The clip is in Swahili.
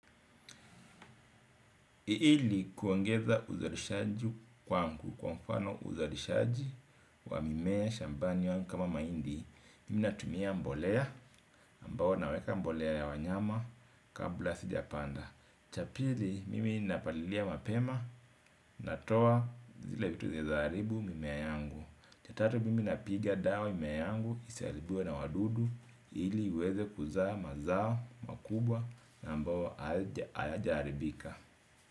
Iili kuongetha uzarishaji kwangu kwa mfano uzarishaji wa mimea shambani waani kama maindi. Mimi natumia mbolea ambawo naweka mbolea ya wanyama kabla sijapanda. Cha pili mimi napalilia mapema natoa zile vitu zinaeza haribu mimea yangu. Cha tatu mimi napiga dawa mimea yangu isaharibiwe na wadudu ili iweze kuzaa mazao makubwa na ambawo ayajaaribika.